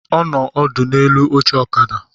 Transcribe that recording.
Ọ nọ ọdụ n'elu oche ọkada